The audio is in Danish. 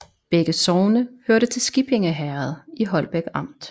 Begge sogne hørte til Skippinge Herred i Holbæk Amt